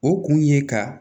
O kun ye ka